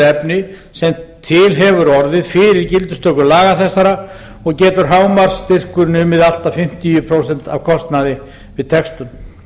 efni sem til hefur orðið fyrir gildistöku laga þessara og getur hámarksstyrkur numið allt að fimmtíu prósent af kostnaði við textun